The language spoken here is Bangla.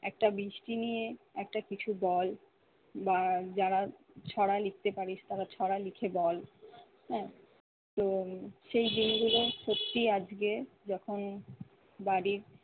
একটা বৃষ্টি নিয়ে একটা কিছু বল বা যারা ছড়া লিখতে পারিস তারা ছড়া লিখে বল। হ্যা তো সেই দিনগুলো সত্যিই আজকে যখন ভাবি